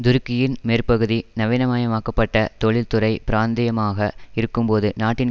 துருக்கியின் மேற்கு பகுதி நவீனமயமாக்கப்பட்ட தொழில் துறை பிராந்தியமாக இருக்கும்போது நாட்டின்